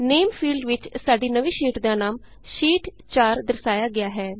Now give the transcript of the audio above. ਨੇਮ name field ਵਿਚ ਸਾਡੀ ਨਵੀਂ ਸ਼ੀਟ ਦਾ ਨਾਮ ਸ਼ੀਟ 4 ਸ਼ੀਟ 4 ਦਰਸਾਇਆ ਗਿਆ ਹੈ